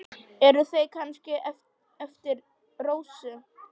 Eru þau kannski eftir Rósu?